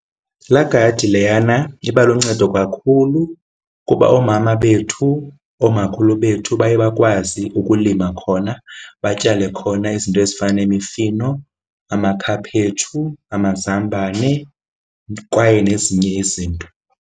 Laa gadi leyana iba luncedo kakhulu kuba oomama bethu, oomakhulu bethu baye bakwazi ukulima khona batyale khona izinto ezifana nemifino, amakhaphetshu, amazambane kwaye nezinye izinto.